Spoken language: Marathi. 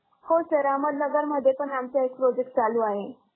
हो sir अहमदनगरमध्ये पण आमचे एक project चालू आहे.